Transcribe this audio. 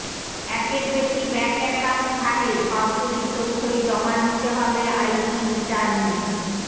একের বেশি bank account থাকলে সবগুলির তথ্যই জমা দিতে হবে আইটি রিটার্নে